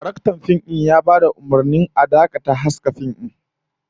Daraktan fim ya bada umurnin a dakata da haska fim din